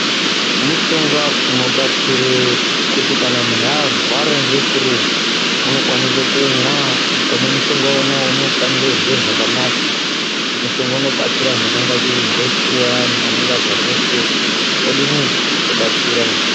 Mushonga inobatsira kuti kana muntu arwara ngefuru unokwanisa kumwa akamwa mushonga uyu anokwanisa kunzwa zvakanaka mushonga inobatsira antu zvakanaka vanenge varwara ngefuru vodini wobatsira.